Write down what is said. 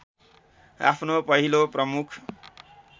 आफ्नो पहिलो प्रमुख